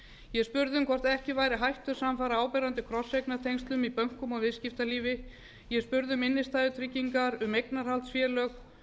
ég spurði um hvort ekki væru hættur samfara áberandi krosseignatengslum í bönkum og viðskiptalífi ég spurði um innstæðutryggingar um eignarhaldsfélög